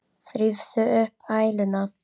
Þrífðu upp æluna.